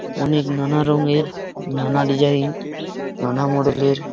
অনেক নানা রঙের নানা ডিজাইন নানা মডেল - এর --